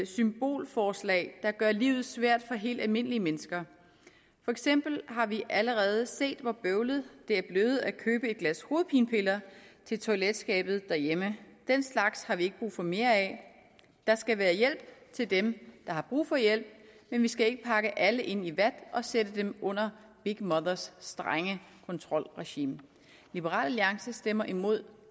symbolforslag der gør livet svært for helt almindelige mennesker for eksempel har vi allerede set hvor bøvlet det er blevet at købe et glas hovedpinepiller til toiletskabet derhjemme den slags har vi ikke brug for mere af der skal være hjælp til dem der har brug for hjælp men vi skal ikke pakke alle ind i vat og sætte dem under big mothers strenge kontrolregime liberal alliance stemmer imod